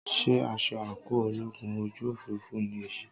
Sé aṣọ àńkò ológun ojú òfurufú ni èyí?